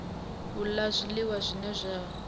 u la zwiliwa zwine zwa